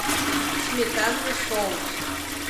сметанный соус